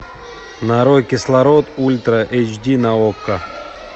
нарой кислород ультра эйч ди на окко